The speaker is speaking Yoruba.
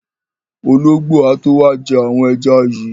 Ológbò á tó wá jẹ́ àwọn ẹja yìí.